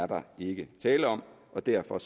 der ikke er tale om og derfor